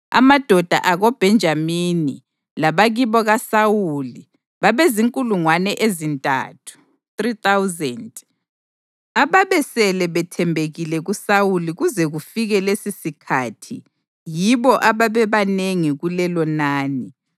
amadoda akoBhenjamini, labakibo kaSawuli babezinkulungwane ezintathu (3,000), ababesele bethembekile kuSawuli kuze kufike lesisikhathi yibo ababebanengi kulelonani;